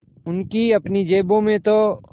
उनकी अपनी जेबों में तो